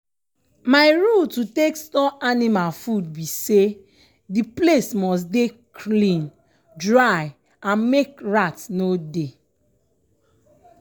my rule to take store anima food bi say di place must dey clean dry and make rat no dey.